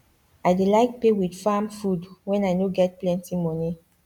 i dey like pay with farm food when i no get plenti money